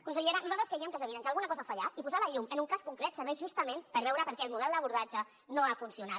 consellera nosaltres creiem que és evident que alguna cosa ha fallat i posar la llum en un cas concret serveix justament per veure per què el model d’abordatge no ha funcionat